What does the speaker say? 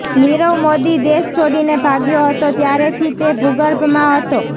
નીરવ મોદી દેશ છોડીને ભાગ્યો હતો ત્યારેથી તે ભૂગર્ભમાં હતો